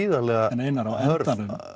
en Einar þetta